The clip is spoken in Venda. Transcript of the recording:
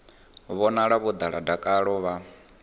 vhonala vho ḓala dakalo vha